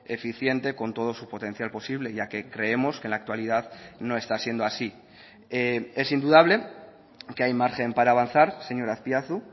eficiente con todo su potencial posible ya que creemos que en la actualidad no está siendo así es indudable que hay margen para avanzar señor azpiazu